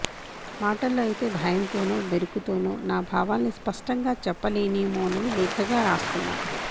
మాటల్లో అయితే భయంతోనో బెరుకుతోనో నా భావాల్ని స్పష్టంగా చెప్పలేనేమోనని లేఖగా రాస్తున్నాను